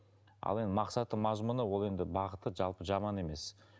ал енді мақсаты мазмұны ол енді бағыты жалпы жаман емес